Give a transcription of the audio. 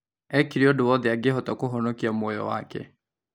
Ekire ũndũ wothe angĩhota kũhonokia muoyo wake